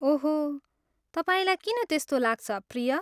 ओहो, तपाईँलाई किन त्यस्तो लाग्छ, प्रिय?